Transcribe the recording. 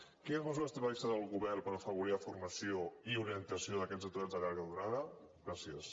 quines mesures té previstes el govern per afavorir la formació i orientació d’aquests aturats de llarga durada gràcies